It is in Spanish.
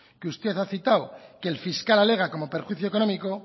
que usted ha citado que el fiscal alega como perjuicio económico